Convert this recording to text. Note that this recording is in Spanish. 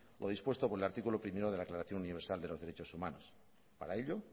lo dispuesto por el artículo primero de la aclaración universal de los derechos humanos para ello